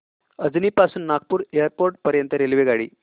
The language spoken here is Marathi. अजनी पासून नागपूर एअरपोर्ट पर्यंत रेल्वेगाडी